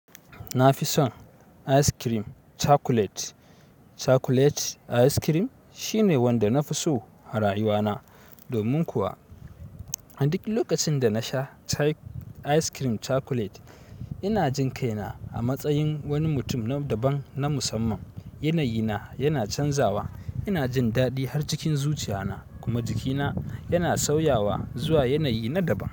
Na fi son ice cream chocolate. Chocolate ice cream shine wanda na fi so arayuwana. Domin kuwa, a duk lokacin da na sha ice cream chocolate, ina jin kaina a matsayin wani mutum na daban na musamman. Yanayina yana canzawa, ina jin daɗi har cikin zuciyana, kuma jikina yana sauyawa zuwa yanayi na daban.